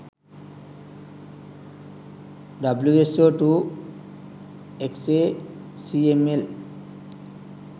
wso2 xacml